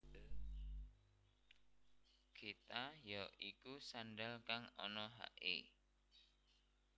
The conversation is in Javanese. Geta ya iku sandhal kang ana haké